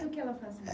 E o que ela fazia?